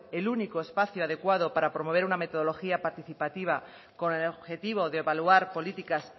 el único espacio adecuado para promover una metodología participativa con el objetivo de evaluar políticas